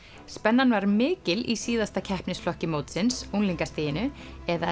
spennan var mikil í síðasta keppnisflokki mótsins unglingastiginu eða